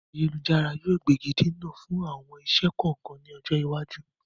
Ayélujára yìí ó gbégidinà fún àwọn iṣẹ́ kọ̀ọ̀kan ni ọjọ́ iwájú.